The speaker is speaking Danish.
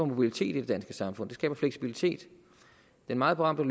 mobilitet i det danske samfund det skaber ikke fleksibilitet den meget berømte